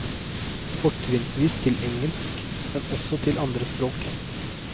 Fortrinnsvis til engelsk, men også til andre språk.